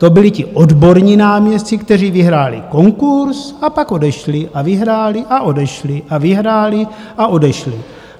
To byli ti odborní náměstci, kteří vyhráli konkurs a pak odešli a vyhráli a odešli a vyhráli a odešli.